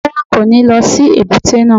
Rárá, kò ní lọ sí èbúté náà.